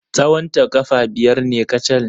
Tsawonta ƙafa biyar ne kacal.